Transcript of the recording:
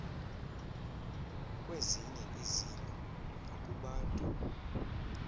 kwezinye izilo nakubantu